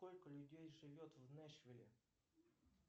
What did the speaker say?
сколько людей живет в нэшвилле